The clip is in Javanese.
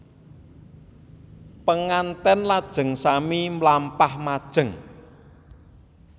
Penganten lajeng sami mlampah majeng